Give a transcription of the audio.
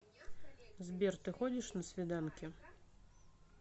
сбер ты ходишь на свиданки